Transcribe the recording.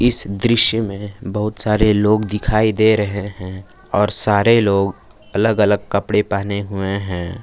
इस दृश्य में बहुत सारे लोग दिखाई दे रहे हैं और सारे लोग अलग अलग कपड़े पहने हुए हैं।